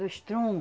Do estrondo